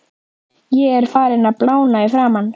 Ég er farinn að blána í framan.